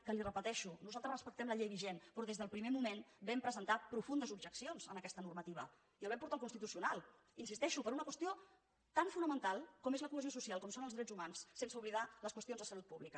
que li ho repeteixo nosaltres respectem la llei vigent però des del primer moment vam presentar profundes objeccions a aquesta normativa i la vam portar al constitucional hi insisteixo per una qüestió tan fonamental com és la cohesió social com són els drets humans sense oblidar les qüestions de salut pública